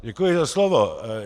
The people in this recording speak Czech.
Děkuji za slovo.